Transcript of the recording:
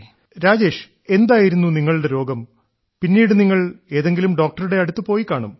ശ്രീ രാജേഷ് എന്തായിരുന്നു നിങ്ങളുടെ രോഗം പിന്നീട് നിങ്ങൾ ഏതെങ്കിലും ഡോക്ടറുടെ അടുത്ത് പോയിക്കാണും